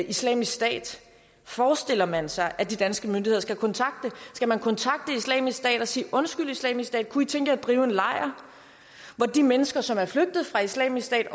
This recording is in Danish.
islamisk stat forestiller man sig at de danske myndigheder skal kontakte islamisk stat og sige undskyld islamisk stat kunne i tænke jer at drive en lejr hvor de mennesker som er flygtet fra islamisk stat